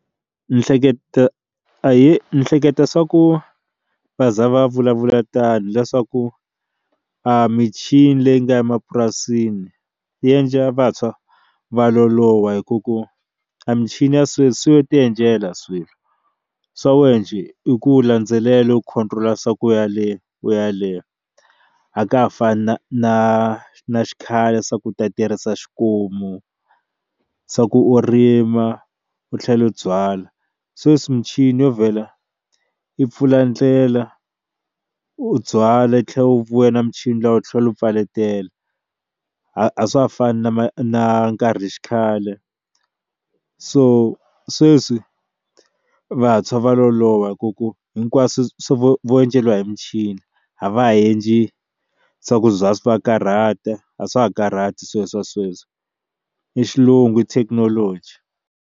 Ni hleketa ahee ni hleketa swa ku va za va vulavula tani leswaku a michini leyi nga emapurasini yi endla vantshwa va loloha hi ku ku a michini ya sweswi yo ti endlela swilo swa wena njhe i ku landzelela u khome tlula swa ku yale u yaleyo a ka ha fani na na na xikhale swa ku ta tirhisa xikomu swa ku u rima u tlhela u byala sweswi muchini yo vhela yi pfula ndlela u byala u tlhela u vuya na michini dlaya u tlhela u peletela a swa ha fani na ma na nkarhi xikhale so sweswi vantshwa va loloha hi ku ku hinkwaswo swi vo vo endzeriwa hi muchini avhareji swa ku bya swa karhata a swa ha karhati sweswo a sweswo i xilungu i thekinoloji.